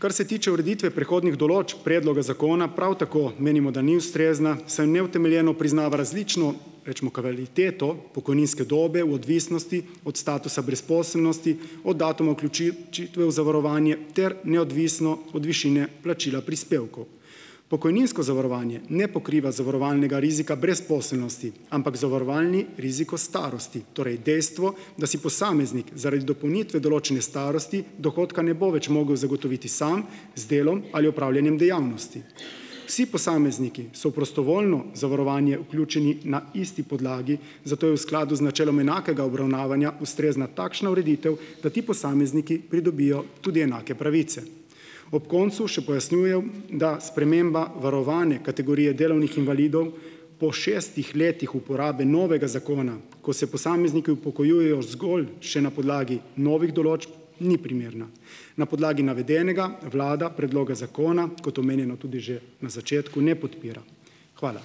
Kar se tiče ureditve prehodnih določb predloga zakona, prav tako menimo, da ni ustrezna, saj neutemeljeno priznava različno, recimo, kvaliteto pokojninske dobe v odvisnosti od statusa brezposelnosti od datuma vključitve v zavarovanje ter neodvisno od višine plačila prispevkov. Pokojninsko zavarovanje ne pokriva zavarovalnega rizika brezposelnosti, ampak zavarovalni riziko starosti, torej dejstvo, da si posameznik, zaradi dopolnitve določene starosti, dohodka ne bo več mogel zagotoviti sam z delom, ali opravljanjem dejavnosti. Vsi posamezniki so v prostovoljno zavarovanje vključeni na isti podlagi, zato je v skladu z načelom enakega obravnavanja ustrezna takšna ureditev, da ti posamezniki pridobijo tudi enake pravice. Ob koncu še pojasnjujem, da sprememba varovane kategorije delavnih invalidov po šestih letih uporabe novega zakona, ko se posamezniki upokojujejo zgolj še na podlagi novih določb, ni primerna. Na podlagi navedenega vlada predloge zakona, kot omenjeno tudi že na začetku, ne podpira. Hvala.